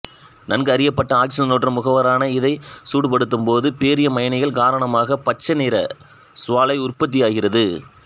நன்கு அறியப்பட்ட ஆக்சிசனேற்ற முகவரான இதை சூடுபடுத்தும்போது பேரியம் அயனிகள் காரணமாக பச்சை நிற சுவாலை உற்பத்தியாகிறது